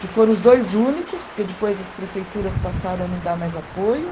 que foram os dois únicos, porque depois as prefeituras passaram a não dar mais apoio.